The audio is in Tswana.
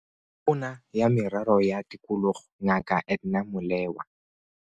Tona ya Merero ya Tikologo Ngaka Edna Molewa.